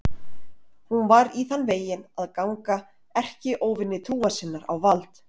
Hún var í þann veginn að ganga erkióvini trúar sinnar á vald.